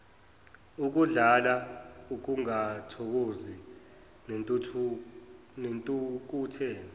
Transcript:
ukudlala ukungathokozi nentukuthelo